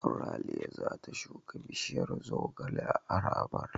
Ralia za ta shuka bishiyar zogale a harabar.